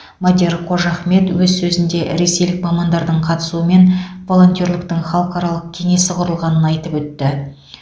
мадияр қожахмет өз сөзінде ресейлік мамандардың қатысуымен волонтерліктің халықаралық кеңесі құрылғанын айтып өтті